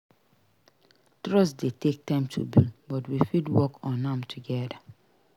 Trust dey take time to build but we fit work on am together.